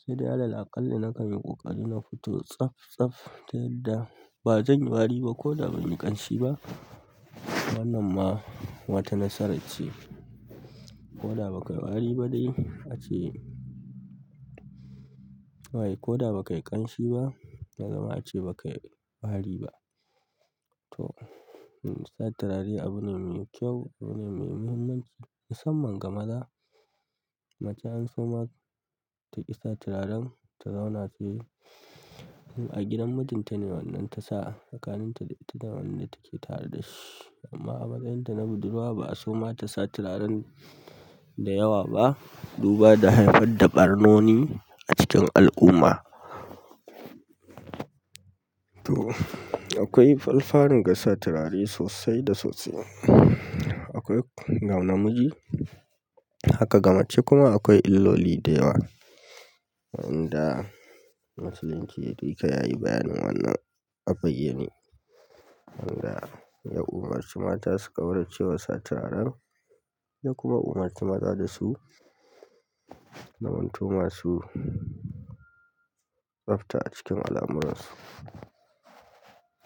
Sai dai alal aƙalla nakan yi ƙoƙari na fito tsaf tsaf, ta yadda ba zanyi wari ba koda banyi ƙanshi ba. Wannan ma wata nasara ce. Ko da bakayi wari ba dai, ace. Wai ko da bakayi ƙanshi ba, ya zama ace bakayi wari ba. To, sa turare abune mai kyau, abu ne mai muhimmanci. Musamman ga maza, mace an so ma taƙi sa turaren, ta zauna fili in a gidan mijinta ne wannan ta sa. Tsakanin ta da ita da wannan take tare dashi. Amma a matsayin ta na budurwa ba aso ma tasa turaren da yawa ba, duba da haifar da ɓarnoni a cikin al'umma. To, akwai falfarin ga sa turare sosai da sosai. Akwai ga na miji, haka ga mace kuma akwai illoli da yawa wanda musuluncin yake yayi bayanin wannan a bayyane. Wanda ya umurci mata su ƙaurace wa sa turaren ya kuma umurci maza dasu zamanto masu tsafta a cikin alamuransu.